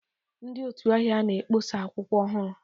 Ndị otu ahịa na-akpọsa akwụkwọ ọhụrụ.